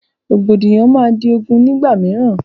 Rògbòdìyàn máa di ogún nígbà mìíràn